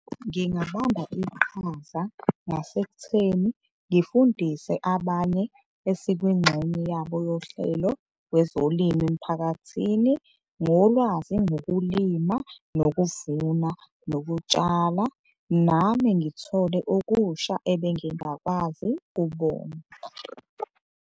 Ngingabamba iqhaza ngasekutheni ngifundise abanye esikwingxenye yabo yohlelo kwezolimo emphakathini ngolwazi ngokulima, nokuvuna, nokutshala nami ngithole okusha ebengingakwazi kubona.